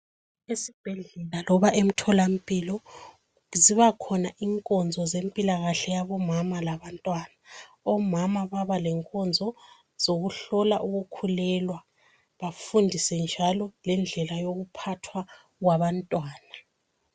Esibhedlela loba emtholampilo zibakhona inkonzo zempilakahle yabomama labantwana. Omama babale nkonzo zokuhlolwa ukukhulelwa futhi bafundiswe njalo lendlela zokuphathwa kwabantwana.